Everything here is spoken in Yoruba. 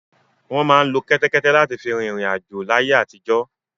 Wọ́n máa ń lo kẹ́tẹ́kẹ́té láti fi rin ìriǹ àjò láyé àtijọ́.